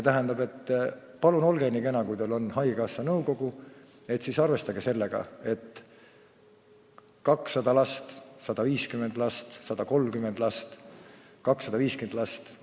Tähendab, palun olge nii kena, kui teil on haigekassa nõukogu istung, siis arvestage sellega, et on kas 200 last, 150 last, 130 last või 250 last.